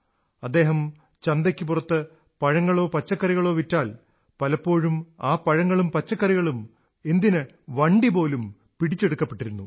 അദ്ദേഹം ചന്തയ്ക്കു പുറത്ത് പഴങ്ങളോ പച്ചക്കറികളോ വിറ്റാൽ പലപ്പോഴും ആ പഴം പച്ചക്കറി വണ്ടിപോലും പിടിച്ചെടുക്കപ്പെട്ടിരുന്നു